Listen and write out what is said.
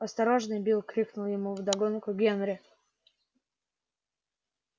осторожнее билл крикнул ему вдогонку генри